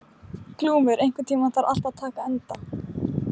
Glúmur, einhvern tímann þarf allt að taka enda.